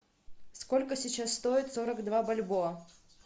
сколько сейчас стоит сорок два бальбоа